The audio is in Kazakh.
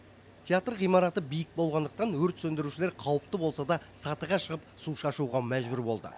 театр ғимараты биік болғандықтан өрт сөндірушілер қауіпті болса да сатыға шығып су шашуға мәжбүр болды